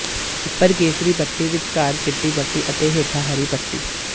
ਉੱਪਰ ਕੇਸਰੀ ਪੱਟੀ ਵਿਚਕਾਰ ਚਿੱਟੀ ਪੱਟੀ ਅਤੇ ਹੇਠਾਂ ਹਰੀ ਪੱਟੀ